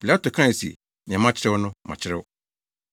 Pilato kae se, “Nea makyerɛw no, makyerɛw.”